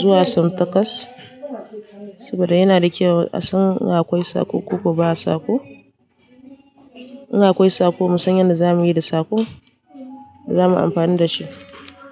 zuwa sau takwas, saboda yana da kyau a san in akwai sako ko ba sako. In akwai sako mu san yadda zamuyi da sako, zamu amfani dashi.